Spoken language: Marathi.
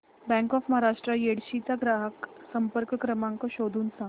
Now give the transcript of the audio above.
बँक ऑफ महाराष्ट्र येडशी चा ग्राहक संपर्क क्रमांक शोधून सांग